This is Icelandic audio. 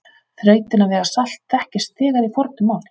Þrautin að vega salt þekktist þegar í fornu máli.